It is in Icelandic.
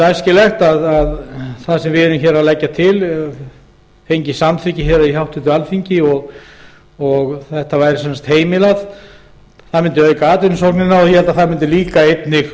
æskilegt væri að það sem við leggjum til fengi samþykki hér á háttvirtu alþingi og þetta væri heimilað það mundi auka atvinnusóknina og ég held að það mundi einnig